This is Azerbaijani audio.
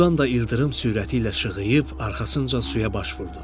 Balıqdan da ildırım sürəti ilə işığıyıb arxasınca suya baş vurdu.